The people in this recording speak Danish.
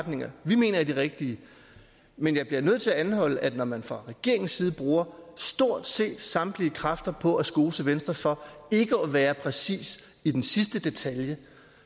retninger vi mener er de rigtige men jeg bliver nødt til at anholde at når man fra regeringens side bruger stort set samtlige kræfter på at skose venstre for ikke at være præcis i den sidste detalje